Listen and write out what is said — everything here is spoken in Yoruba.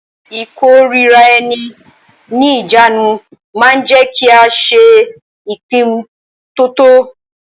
Ìkóraẹni ní ìjánu ma ń jẹ́ kí a ṣe ìpinnu to tọ́.